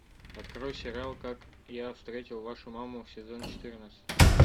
открой сериал как я встретил вашу маму сезон четырнадцать